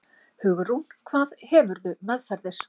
Hugrún: Hvað hefurðu meðferðis?